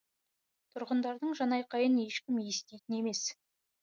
тұрғындардың жанайқайын ешкім еститін емес